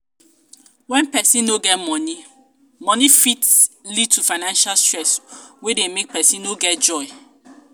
when person no get money money e fit lead to financial stress wey dey make person no get joy